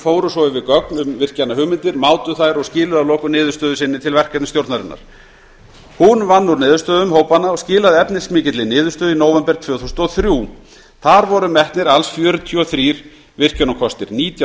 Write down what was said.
fóru svo yfir gögn um virkjanahugmyndir mátu þær og skiluðu að lokum niðurstöðu sinni til verkefnisstjórnarinnar hún vann úr niðurstöðum hópanna og skilaði efnismikilli niðurstöðu í nóvember tvö þúsund og þrjú þar voru metnir alls fjörutíu og þrjú virkjunarkosti nítján